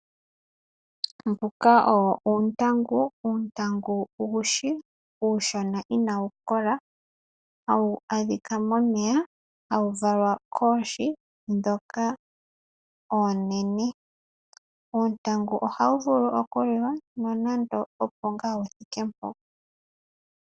Mbika owo uuntangu, uuntangu uushi mboka inawu kola hawu adhika momeya hawu valwa koohi dhoka oonene. Uuntangu ohawu vulu okuliwa nando opo ngaa wuthike mpo.